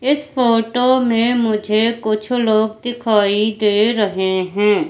इस फोटो में मुझे कुछ लोग दिखाई दे रहे हैं।